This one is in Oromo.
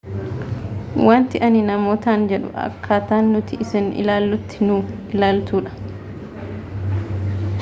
wanti ani namootan jedhu akkaata nuti isin ilaallutti nu ilaaltuudha